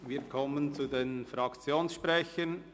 Wir kommen zu den Fraktionssprechern.